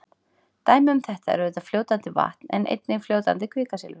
Dæmi um þetta er auðvitað fljótandi vatn en einnig fljótandi kvikasilfur.